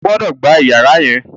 o gbódò gbà iyàrá yén!